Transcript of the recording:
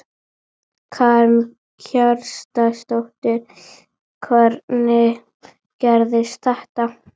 Eru knattspyrnumenn ekki eins og aðrir launþegar?